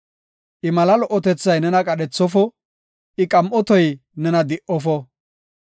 I mala lo77otethay nena qadhethofo; I qam7otoy nena di77ofo.